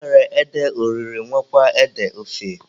E nwere ede oriri nwekwaa ede ofe.